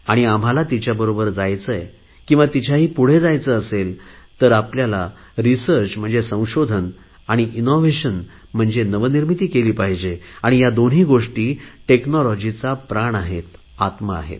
आणि आम्हाला तिच्याबरोबर जायचे आहे किंवा तिच्याही पुढे जायचे असेल तर आपल्याला रिसर्च म्हणजे संशोधन आणि इनोव्हेशन म्हणजे नवनिर्मिती केली पाहिजे आणि या दोन्ही गोष्टी टेक्नॉलॉजीचा प्राण आहेत आत्मा आहेत